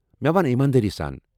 مےٚ ون ایماندٲری سان ۔